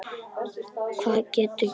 Hvað gastu gert annað?